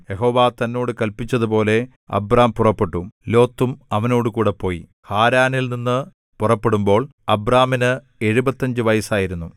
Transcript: യഹോവ തന്നോട് കല്പിച്ചതുപോലെ അബ്രാം പുറപ്പെട്ടു ലോത്തും അവനോടുകൂടെ പോയി ഹാരാനിൽനിന്നു പുറപ്പെടുമ്പോൾ അബ്രാമിന് എഴുപത്തഞ്ച് വയസ്സായിരുന്നു